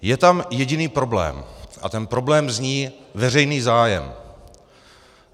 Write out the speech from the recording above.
Je tam jediný problém a ten problém zní: veřejný zájem.